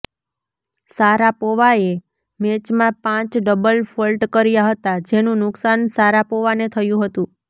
શારાપોવાએ મેચમાં પાંચ double fault કર્યા હતા જેનું નુકસાન શારાપોવાને થયું હતું